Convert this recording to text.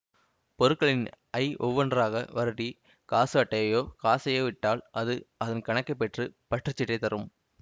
பொருட்களின் ஐ ஒவ்வொன்றாக வருடி காசு அட்டையையோ காசையோ இட்டால் அது அதன் கணக்கை பெற்று பற்றுச்சீட்டைத் தரும்